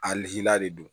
A lila de do